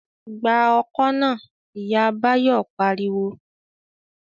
"Gba ọkọ́ náà!", Ìyá Báyọ̀ pariwo